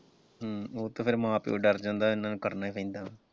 ਹਮ ਉਹ ਤਾਂ ਫਿਰ ਮਾਂ ਪਿਓ ਡਰ ਜਾਂਦਾ ਇਨ੍ਹਾਂ ਨੂੰ ਕਰਨਾ ਈ ਪੈਂਦਾ।